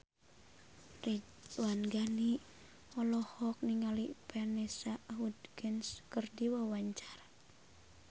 Ridwan Ghani olohok ningali Vanessa Hudgens keur diwawancara